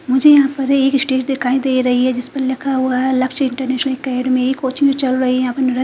मुझे यहां पर एक स्टेज दिखाई दे रही है जिस पर लिखा हुआ है लक्ष्य इंटरनेशनल अकेडमी एक कोचिंग चल रही है यहां पे नर--